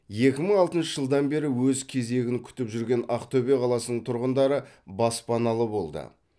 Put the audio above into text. екі мың алтыншы жылдан бері өз кезегін күтіп жүрген ақтөбе қаласының тұрғындары баспаналы болды